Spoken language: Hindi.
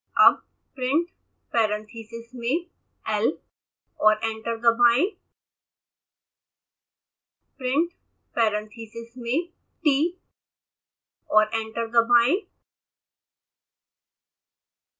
अब printparentheses मेंl और एंटर दबाएं